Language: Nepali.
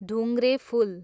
ढुङ्ग्रेफुल